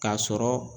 K'a sɔrɔ